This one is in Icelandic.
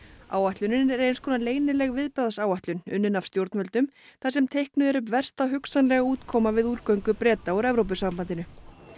áætlunin er eins konar leynileg viðbragðsáætlun unnin af stjórnvöldum þar sem teiknuð er upp versta hugsanlega útkoma við útgöngu Breta úr Evrópusambandinu